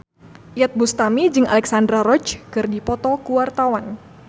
Iyeth Bustami jeung Alexandra Roach keur dipoto ku wartawan